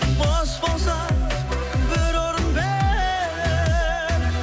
бос болса бір орын бер